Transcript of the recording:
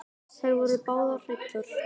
Þær voru báðar hræddar.